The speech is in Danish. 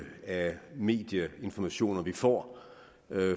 af medieinformationer vi får